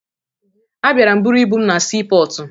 Abịara m buru ibu m na siipọọtụ